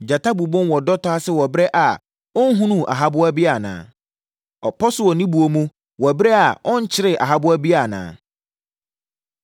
Gyata bobom wɔ dɔtɔ ase wɔ ɛberɛ a ɔnhunuu ahaboa biara anaa? Ɔpɔ so wɔ ne buo mu wɔ ɛberɛ a ɔnkyeree ahaboa biara anaa?